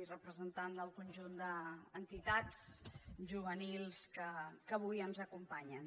i representants del conjunt d’entitats juvenils que avui ens acompanyen